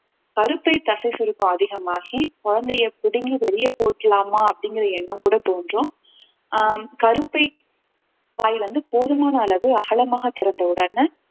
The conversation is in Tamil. கருப்பை தசை சுருக்கம் அதிகமாகி குழந்தையை பிடுங்கி வெளிய போட்டுடலாமா அப்படிங்கிற எண்ணம் கூட தோன்றும் ஆஹ் கருப்பை வாய் வந்து போதுமான அளவு அகலமாக திறந்த உடனே